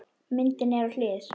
Myndin er á hlið.